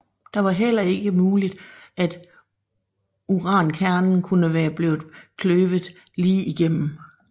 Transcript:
Det var heller ikke muligt at urankernen kunne være blevet kløvet lige igennem